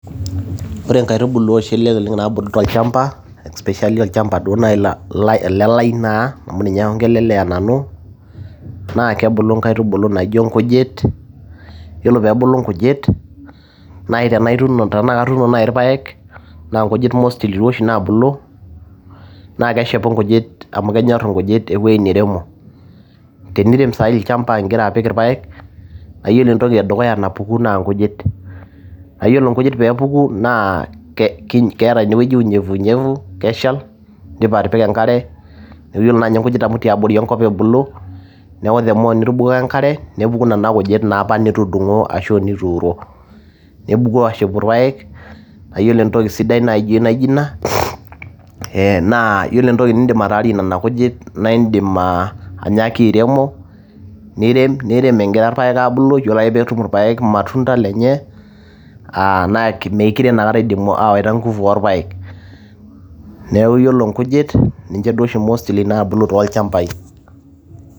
Ore inkailtubulu naa bulu tolchamba, olchamba elelai naa ninye aiongelelea nanu naa kebulu inkaitubulu naijo inkujit, naa tenebulu nkijit naa tenituuno naaji ilpaek, naa ingujit naa mostly naa bulu. Naa keshepu nkujit, amu kenyorr inkujit eweji neiremo. Tenirem saa hii olchamba igira apik ilpaek naa ore entoki edukuya napuku naa inkujit. Ore inkujit naa puku keeta ine weji unyevu unyevu keshal indipa atipika enkare. Iyiolo nkijit tiabori enkop ebulu, neaku the more itubukoko enkare the more nitubukoko enkare nepuku nene kijit nitudungo ashu nituuro, nepuku aashepu irpaek, naa ore entoki naijo ina naa ore entoki nidim ataarie nena kijit naa idim anyaaki airemo , nirem egira ilpaek aabulu iyiolo ake pee tum irpaek ilmatunda lenye, naa meekure eidimu awaita inguvu aalpaek. Neaku ore inkujit ninche oshu naa bulu mostly too ilchambai.